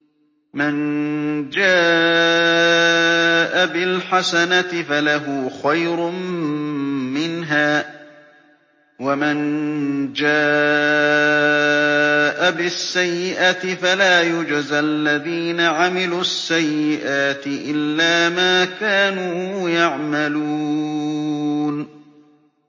مَن جَاءَ بِالْحَسَنَةِ فَلَهُ خَيْرٌ مِّنْهَا ۖ وَمَن جَاءَ بِالسَّيِّئَةِ فَلَا يُجْزَى الَّذِينَ عَمِلُوا السَّيِّئَاتِ إِلَّا مَا كَانُوا يَعْمَلُونَ